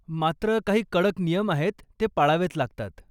मात्र, काही कडक नियम आहेत, ते पाळावेच लागतात.